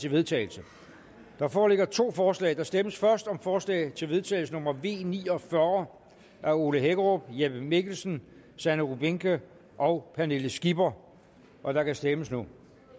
til vedtagelse der foreligger to forslag der stemmes først om forslag til vedtagelse nummer v ni og fyrre af ole hækkerup jeppe mikkelsen sanne rubinke og pernille skipper og der kan stemmes nu